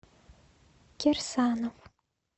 кирсанов